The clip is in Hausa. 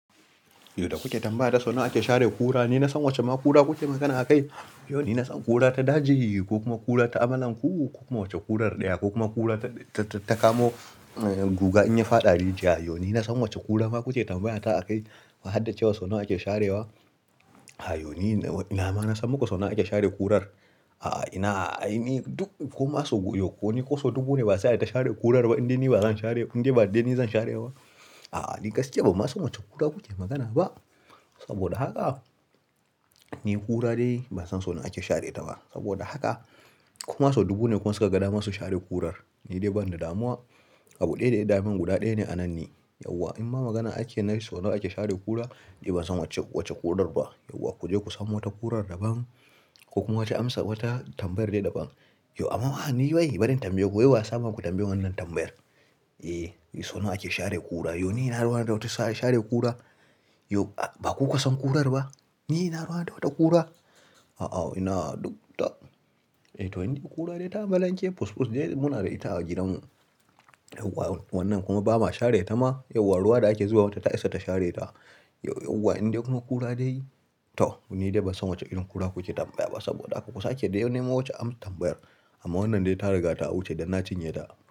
Yanda kuke tambaya ta suna ake share kura, ni na san wacce ma ƙura kuke magana a kai. Yau ni na san ƙura ta daji ko kuma ƙura ta amalan ku, ko kuma wacce ƙurar ɗaya ko kuma ƙura ta-ta-ta kamu guga in ya faɗa rijiya. Yau ni na san wacce ƙura ma kuke tambayata a kai. Ma hadden cewa suna ake share wa. A yo ni ina ma na san muku suna ake share ƙurar. A'a, ina, ai ni duk kuma so yokoni ko so dubu ne ba sai da ta share ƙurar ba inda ni ba zan share, inda ni zan share wa. A'a, ni gaskiya ba ma suna wacce ƙura kuke magana ba. Saboda haka, ni ƙura dai ban san so nawa ake share ta ba. Saboda haka, koma so dubu ne kun saka gada masu share ƙurar. Ni dai ban da damuwa. Abu ɗaya daya daman guda ɗaya ne a nan ni Yauwa in ma magana ake na yi suna ake share ƙura, ni ban san wacce, wacce ƙurar ba. Yauwa ku je ku samo wata ƙurar daban ko kuma ki amsa wata tambayar dai daban. Yau amma ni wai bari in tambaye ku yau wa ya sa muka tambayi wannan tambayar? Eh, suna ake share ƙura. Yau ni ina ruwa don ta share ƙura? Yau ba kuka san ƙurar ba? Ni ina ruwa don wata ƙura? A'a, ina duk ta. Eh to, indai ƙura dai ta amalanke kukus dai muna da ita a gidanmu. Yauwa wannan kuma ba ma share ta ma. Yauwa ruwa da ake zuwa wata ta isa ta share ta. Yauwa indai kuna ƙura dai? To ni dai ban san wacce irin ƙura kuke tambaya ba saboda haka kusa ke dai neman wacce amsa tambayar. Amma wannan dai ta riga ta wuce da na cinye ta.